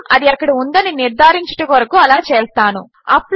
కేవలము అది అక్కడ ఉందని నిర్ధారించుట కొరకు అలా చేస్తాను